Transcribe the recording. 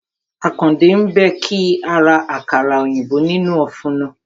Àkàndé ń béèkì àkàrà òyìnbó nínú ófùnù